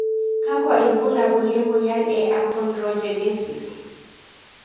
Kakwa ibulabul le moyian e Achondrogenesis?